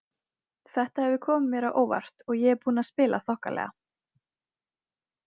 Þetta hefur komið mér á óvart og ég er búinn að spila þokkalega.